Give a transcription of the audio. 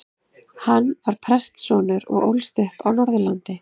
Hann var prestssonur og ólst upp á Norðurlandi.